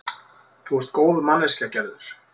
Þú ert góð manneskja, Gerður.